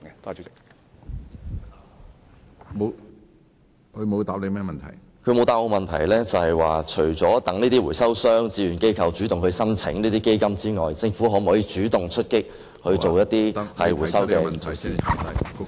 局長沒有答覆我，除了等待回收商和志願機構主動向基金提出申請外，政府會否主動出擊推行回收措施呢？